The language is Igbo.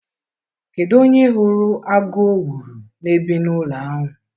Kedu onye hụrụ agụ owuru na-ebi n'ụlọ ahụ?